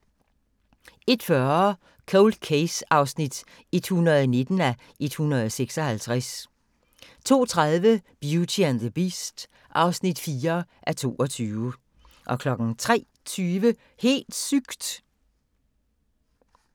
01:40: Cold Case (119:156) 02:30: Beauty and the Beast (4:22) 03:20: Helt sygt!